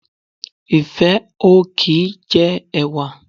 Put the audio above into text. Ìfẹ́ ò kì í jẹ ẹ̀wà